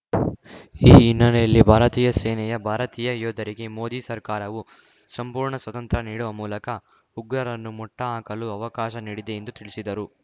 ಈ ಹಿನ್ನೆಲೆಯಲ್ಲಿ ಭಾರತೀಯ ಸೇನೆಯ ಭಾರತೀಯ ಯೋಧರಿಗೆ ಮೋದಿ ಸರ್ಕಾರವೂ ಸಂಪೂರ್ಣ ಸ್ವಾತಂತ್ರ್ಯ ನೀಡುವ ಮೂಲಕ ಉಗ್ರರನ್ನು ಮಟ್ಟಹಾಕಲು ಅವಕಾಶ ನೀಡಿದೆ ಎಂದು ತಿಳಿಸಿದರು